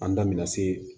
An da bɛna se